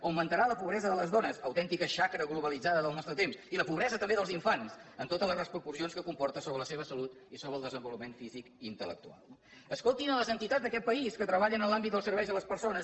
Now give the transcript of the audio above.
augmentarà la pobresa de les dones autèntica xacra globalitzada del nostre temps i la pobresa també dels infants amb totes les repercussions que comporta sobre la seva salut i sobre el desenvolupament físic i intellectual no escoltin les entitats d’aquest país que treballen en l’àmbit dels serveis a les persones